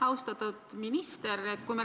Austatud minister!